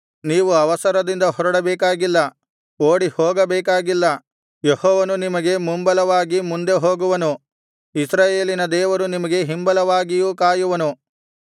ನೀವು ಅವಸರದಿಂದ ಹೊರಡಬೇಕಾಗಿಲ್ಲ ಓಡಿಹೋಗಬೇಕಾಗಿಲ್ಲ ಯೆಹೋವನು ನಿಮಗೆ ಮುಂಬಲವಾಗಿ ಮುಂದೆ ಹೋಗುವನು ಇಸ್ರಾಯೇಲಿನ ದೇವರು ನಿಮಗೆ ಹಿಂಬಲವಾಗಿಯೂ ಕಾಯುವನು